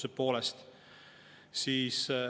Kas soovite lisaaega?